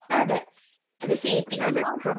അതെ. അത് സിപിഎം ആകുമ്പോ..